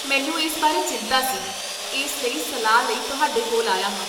ਮੈਨੂੰ ਇਸ ਬਾਰੇ ਚਿੰਤਾ ਸੀ, ਇਸ ਲਈ ਸਲਾਹ ਲਈ ਤੁਹਾਡੇ ਕੋਲ ਆਇਆ ਹਾਂ